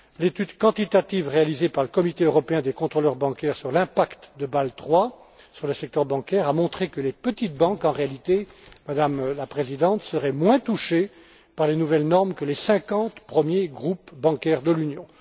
L'étude quantitative réalisée par le Comité européen des contrôleurs bancaires concernant l'impact de Bâle III sur le secteur bancaire a montré que les petites banques, en réalité, Madame Kratsa Tsagaropoulou, seraient moins touchées par les nouvelles normes que les 50 premiers groupes bancaires de l'Union.